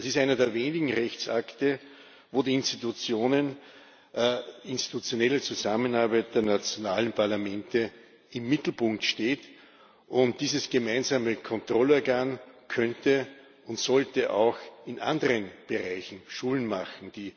Das ist einer der wenigen Rechtsakte, wo die interinstitutionelle Zusammenarbeit mit den nationalen Parlamenten im Mittelpunkt steht. Dieses gemeinsame Kontrollorgan könnte und sollte auch in anderen Bereichen Schule machen.